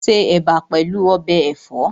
Ó se Ẹ̀bà pẹ̀lú ọbẹ̀ ẹ̀fọ́